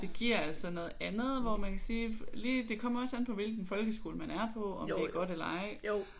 Det giver altså noget andet hvor man kan sige lige det kommer også an på hvilken folkeskole man er på om det er godt eller ej